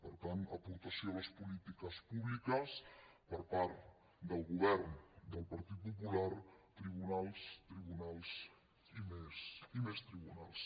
per tant aportació a les polítiques públiques per part del govern del partit popular tribunals tribunals i més tribunals